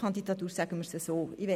Hannes Zaugg-Graf mit 146 Stimmen